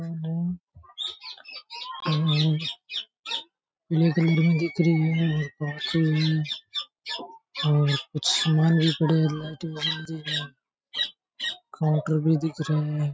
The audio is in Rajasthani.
दिख रही है और कुछ सामान भी पड़ा है लाइटें वगैरा भी है काऊंटर भी दिख रे है।